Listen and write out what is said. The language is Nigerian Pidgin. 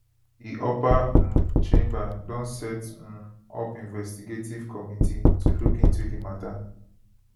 di upper um chamber don set um up investigative committee to look into di mata